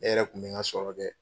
Ne yɛrɛ tun bɛ n ka sɔrɔ kɛ